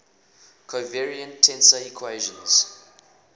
covariant tensor equations